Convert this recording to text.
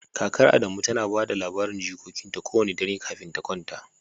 Kakar Adamu tana ba da labarin jikokinta kowane dare kafin ta kwanta